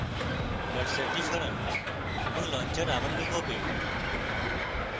কার্সারটি সরান এবং launcher আবার লুকোবে